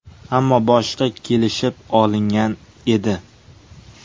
Ammo boshida kelishib olingan edi.